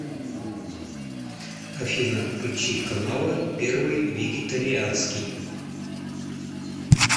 афина включи каналы первый вегетарианский